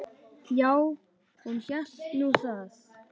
Já, hún hélt nú það.